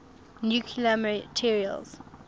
nuclear materials